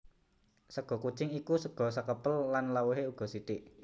Sega kucing iku sega sekepel lan lawuhé uga sithik